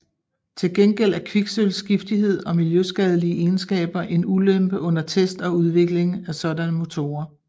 Til gengæld er kviksølvs giftighed og miljøskadelige egenskaber en ulempe under test og udvikling af sådanne motorer